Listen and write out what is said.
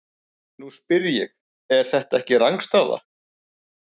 Nú spyr ég- er þetta ekki rangstaða?